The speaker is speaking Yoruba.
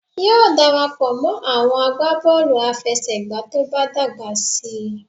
Yóò darapọ̀ mọ́ àwọn agbábọ̀ọ̀lù àfẹsẹ̀gbá tó bá dàgbà síi